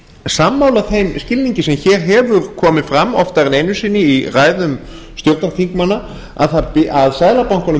sammála þeim skilningi sem hér hefur komið fram oftar ein einu sinni í ræðum stjórnarþingmanna að seðlabankanum